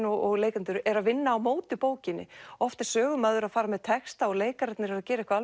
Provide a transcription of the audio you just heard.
og leikendur eru að vinna á móti bókinni oft er sögumaður að fara með texta og leikararnir eru að gera eitthvað